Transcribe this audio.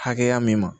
Hakɛya min ma